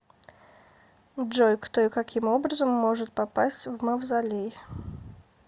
джой кто и каким образом может попасть в мавзолей